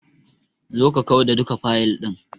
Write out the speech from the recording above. Zo ka kau da duka fayil ɗin.